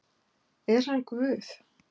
Er hann Guð?